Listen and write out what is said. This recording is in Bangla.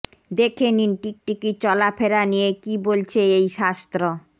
দেখে নিন টিকটিকির চলাফেরা নিয়ে কী বলছে এই শাস্ত্র